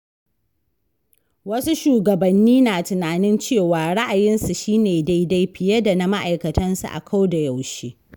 Wasu shugabanni na tunanin cewa ra’ayinsu shi ne daidai fiye da na ma'aikatansu a ko da yaushe.